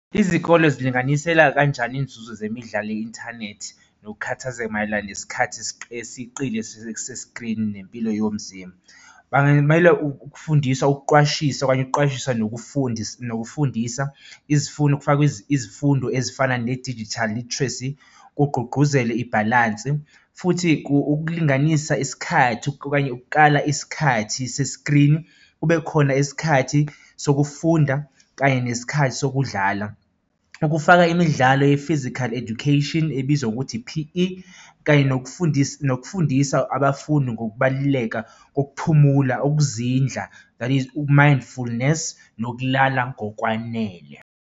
Izikole zilinganisela kanjani iy'nzuzo zemidlalo i-inthanethi nokukhathazeka mayelana nesikhathi eseqile sesikrini nempilo yomzimba. Bangamela ukufundiswa, ukuqwashisa okanye nokuqwashisa nokufundisa nokufundisa izifundo kufakwe izifundo ezifana nedijithali literacy kugqugquzelwe ibhalansi. Futhi ukulinganisa isikhathi okanye ukukala isikhathi sesikrini, kube khona isikhathi sokufunda kanye nesikhathi sokudlala. Ukufaka imidlalo ye-physical education ebizwa ngokuthi i-P_E kanye nokufundisa, nokufundisa abafundi ngokubaluleka kokuphumula, ukuzindla that is uku-mindfulness nokulala ngokwanele.